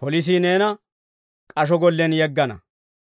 polisii neena k'asho gollen yeggana.